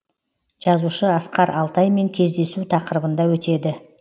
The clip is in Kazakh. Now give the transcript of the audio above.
жазушы асқар алтаймен кездесу тақырыбында өтеді